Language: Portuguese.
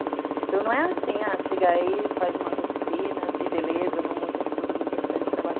Então não é assim, ah, chega aí, faz umas oficinas e beleza, vamos mostrar para todo mundo que a gente faz esse trabalho.